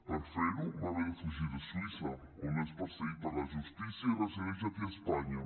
per fer ho va haver de fugir de suïssa on és perseguit per la justícia i resideix aquí a espanya